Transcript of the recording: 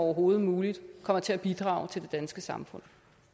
overhovedet muligt kommer til at bidrage til det danske samfund